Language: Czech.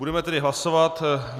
Budeme tedy hlasovat.